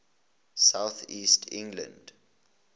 south east england